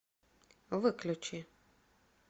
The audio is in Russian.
выключи